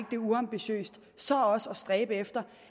det er uambitiøst så også at stræbe efter